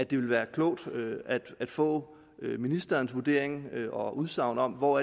vil være klogt at få ministerens vurdering af og udsagn om hvor